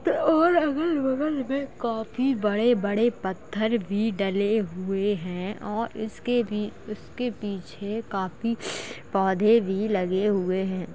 और अगल-बगल में काफी बड़े-बड़े पत्थर भी डले हुए हैं और इसके भी उसके पीछे काफी पौधे भी लगे हुए हैं।